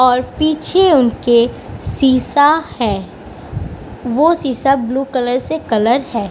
और पीछे उनके शीशा है। वो शीशा ब्लू कलर से कलर है।